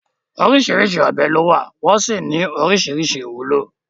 Oríṣìíríṣìí ọ̀bẹ ni ó wà, wọ́n sì ní oríṣìíríṣìí ìwúlò.